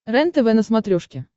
рентв на смотрешке